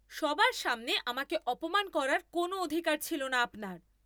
সবার সামনে আমাকে অপমান করার কোনো অধিকার ছিল না আপনার।